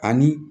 Ani